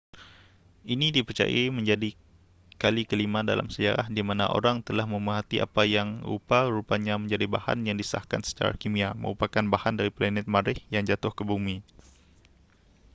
ini dipercayai menjadi kali kelima dalam sejarah di mana orang telah memerhati apa yang rupa-rupanya menjadi bahan yang disahkan secara kimia merupakan bahan dari planet marikh yang jatuh ke bumi